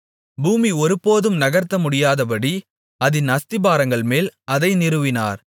பூமி ஒருபோதும் நகர்த்த முடியாதபடி அதின் அஸ்திபாரங்கள்மேல் அதை நிறுவினார்